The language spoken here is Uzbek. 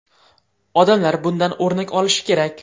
Odamlar bundan o‘rnak olishi kerak.